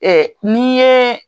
n' i ye